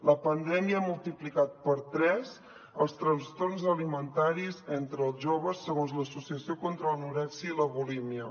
la pandèmia ha multiplicat per tres els trastorns alimentaris entre els joves segons l’associació contra l’anorèxia i la bulímia